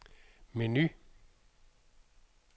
menu